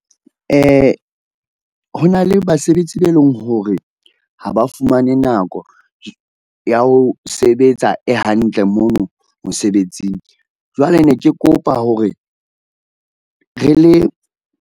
Ho na le basebetsi be leng hore ha ba fumane nako ya ho sebetsa e hantle mono mosebetsing. Jwale ne ke kopa hore re le.